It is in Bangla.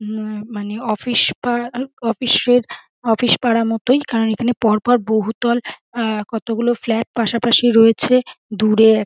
মো মানে অফিস পার অফিস র অফিস পাড়া মতই কারণ এখানে পর পর বহুতল অ্যা কয়গুলো ফ্লাট পাশাপাশি রয়েছে দূরে এক--